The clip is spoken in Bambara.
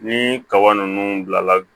Ni kaba ninnu bila la